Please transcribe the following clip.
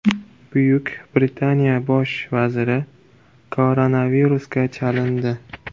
Buyuk Britaniya bosh vaziri koronavirusga chalindi.